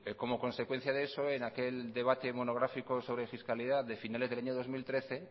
como consecuencia de eso en aquel debate monográfico sobre fiscalidad de finales del año dos mil trece